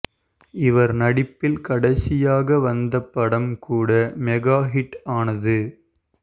இவர் நடிப்பில் கடைசியாக வந்த படம் கூட மெகா ஹிட் ஆனது